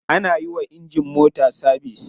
Ana yiwa injin mota sabise.